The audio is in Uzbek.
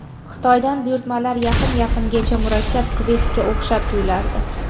Xitoydan buyurtmalar yqin yaqingacha murakkab kvestga o‘xshab tuyulardi.